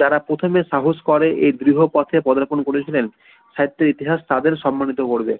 যারা প্রথমে সাহস করে এই বৃহ পথে পদার্পণ করেছিলেন সাহিত্য ইতিহাস তাদের সম্মানিত করবে